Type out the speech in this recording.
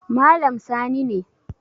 Malam Sani ne